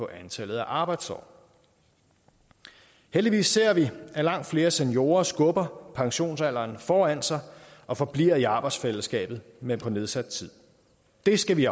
antallet af arbejdsår heldigvis ser vi at langt flere seniorer skubber pensionsalderen foran sig og forbliver i arbejdsfællesskabet men på nedsat tid det skal vi